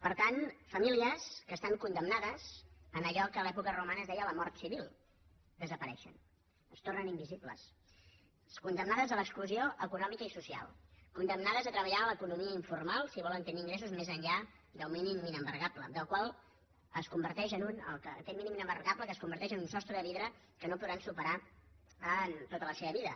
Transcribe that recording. per tant famílies que estan condemnades a allò que a l’època romana es deia la mort civil desapareixen es tornen invisibles condemnades a l’exclusió econòmica i social condemnades a treballar en l’economia informal si volen tenir ingressos més enllà del mínim inembargable aquest mínim inembargable que es converteix en un sostre de vidre que no podran superar en tota la seva vida